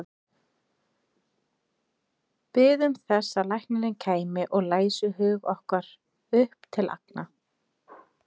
Biðum þess að læknirinn kæmi og læsi hug okkar upp til agna.